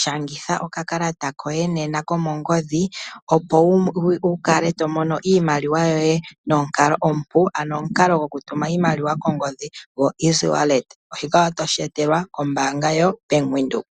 Shangitha okakalata koye nena komongodhi opo wukale tomona iimaliwa yoye nomukalo omupu, ano omukalo gwokutuma iimaliwa kongodhi gwo easy-wallet. Shika otosheetelwa kombaanga ya venduka.